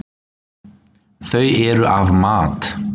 Þau eru af mat.